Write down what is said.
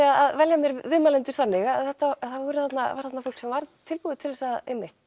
að velja viðmælendur þannig að það var þarna fólk sem var tilbúið til að